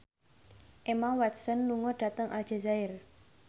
Emma Watson lunga dhateng Aljazair